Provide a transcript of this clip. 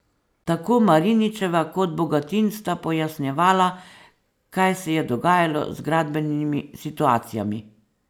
Tako Mariničeva kot Bogatin sta pojasnjevala, kaj se je dogajalo z gradbenimi situacijami.